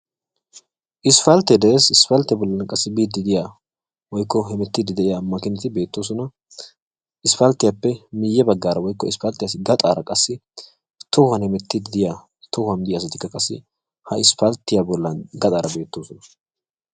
isppaltee dees. isppaltiya bolli biidi de'iya woykko hemettidi diya makkiinati de'oosona. ya bagaara qassi tohuwan hemetiidi ha isppaltiyaape gaxaara beetoosona.